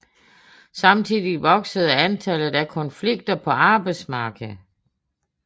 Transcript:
Samtidig voksede antallet af konflikter på arbejdsmarkedet